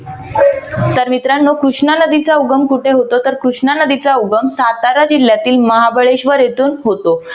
तर मित्रानो कृष्णा नदीचा उगम कुठे होतो तर कृष्णा नदीचा उगम सातारा जिल्ह्यातील महाबळेश्वर येथून होतो.